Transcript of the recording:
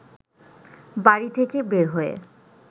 বাড়ি থেকে বের হয়ে